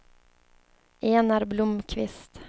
Enar Blomkvist